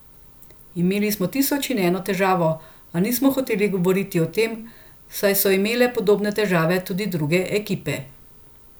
Imeli smo tisoč in eno težavo, a nismo hoteli govoriti o tem, saj so imele podobne težave tudi druge ekipe.